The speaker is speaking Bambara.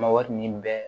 Ma wari nin bɛn